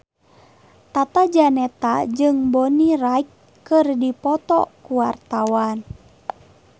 Tata Janeta jeung Bonnie Wright keur dipoto ku wartawan